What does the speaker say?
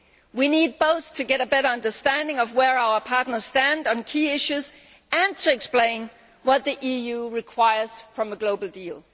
We need both to get a better understanding of where our partners stand on key issues and to explain what the EU requires from a global deal.